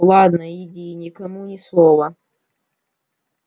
ладно иди и никому ни слова